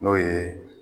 N'o ye